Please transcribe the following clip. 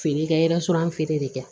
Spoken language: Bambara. Feere kɛ feere de kɛ